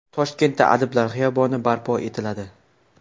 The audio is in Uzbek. Toshkentda Adiblar xiyoboni barpo etiladi.